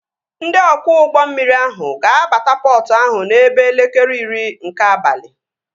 Ndị ọkwọ ụgbọ mmiri ahụ ga-abata pọtụ ahụ n'ebe elekere iri nke abalị